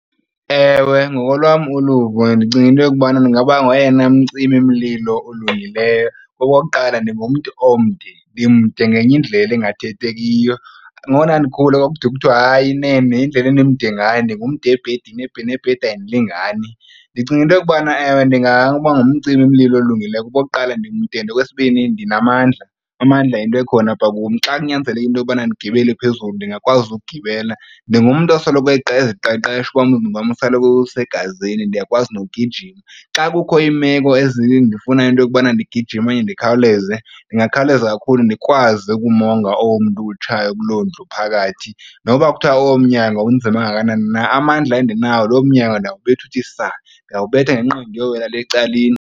Ewe, ngokolwam uluvo ndicinga into yokubana ndingaba ngoyena umcimimlilo olungileyo. Okokuqala, ndingumntu omde, ndimde ngenye indlela engathethekiyo. Ngoko ndandikhula kwakude kuthwe hayi nene indlela endimde ndingumde ebhedini nebhedi ayindilingani. Ndicinga into yokubana, ewe, ndingaba ngumcimimlilo olungileyo kuba okokuqala ndimde and okwesibini ndinamandla. Amandla yinto ekhona apha kum. Xa kunyanzeleke into yokubana ndigibele phezulu ndingakwazi ukugibela, ndingumntu osoloko eziqeqesha umzimba wam usoloko usegazini ndiyakwazi nogijima. Xa kukho iimeko ezindifuna into yokubana ndigijime okanye ndikhawuleze ndingakhawuleza kakhulu ndikwazi ukumonga omntu utshaye kuloo ndlu phakathi. Noba kuthiwa loo mnyangwa unzima kangakanani na amandla endinawo, loo mnyangwa ndawukubetha uthi saa, ndingawubetha ngenqindi uyowela lee ecaleni.